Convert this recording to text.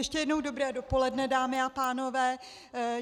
Ještě jednou dobré dopoledne, dámy a pánové.